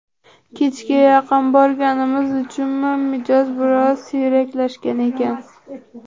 Kechga yaqin borganimiz uchunmi, mijoz biroz siyraklashgan ekan.